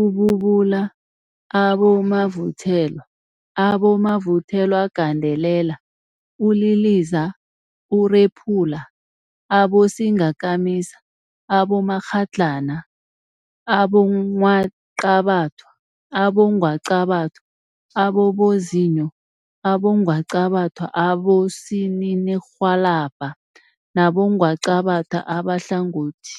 ububula, abomavuthelwa, abomavuthelwagandelela, uliliza, urephula, abosingakamisa, abomakghadlana, abongwaqabathwa, abongwaqabathwa ababozinyo, abongwaqabathwa abosininirhwalabha nabongwaqabatha abahlangothi.